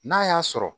N'a y'a sɔrɔ